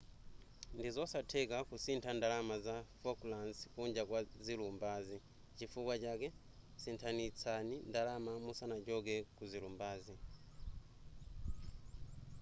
ndizosatheka kusintha ndalama za falklands kunja kwa zilumbazi chifukwa chake sinthanitsani ndalama musanachoke kuzilumbazi